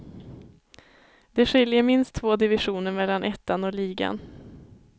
Det skiljer minst två divisioner mellan ettan och ligan.